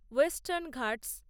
western Ghats